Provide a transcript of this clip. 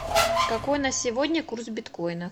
какой на сегодня курс биткоина